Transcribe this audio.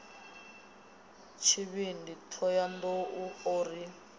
tshivhindi thohoyanḓ ou o ri